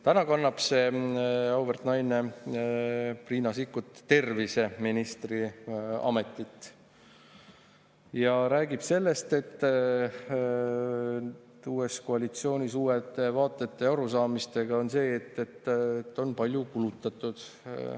Täna on see auväärt naine, Riina Sikkut, terviseministri ametis ja räägib sellest, olles uues koalitsioonis uute vaadete ja arusaamistega, et on palju kulutatud.